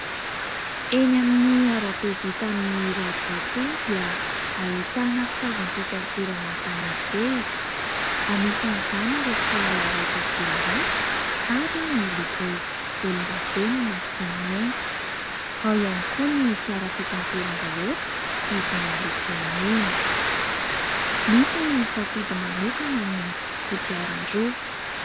Eny amin'ny arabe vita amin'ny rarivato eny dia ahitana fitaovam-pitanterana mifamezivezy, anisan'ny izany ireo fiara raitra dia raitra ary miloko lokan-davenona sy mainty, ao ihany koa ireo fiara fitateram-bahoaka izany miloko mena. Misy ny misafidy manokana ny fiara kodiaran-droa.